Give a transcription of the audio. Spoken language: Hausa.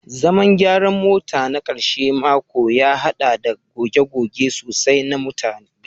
Zaman gyaran mota na karshen mako ya haɗa da goge-goge sosai na mutugadi